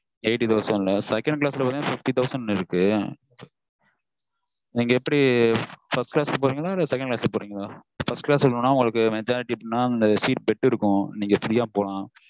second class ல பாத்தீங்கன்னா fifty thousand க்கு இருக்கு நீங்க எப்படி first class க்கு போறீங்களா இல்ல second class போறீங்களா first class போனா majority என்னனா bed இருக்கும் நீங்க free யா போலாம்